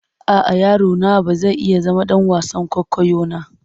A'a, yaro na ba zai iya zama ɗan wasan kwaikwayo na.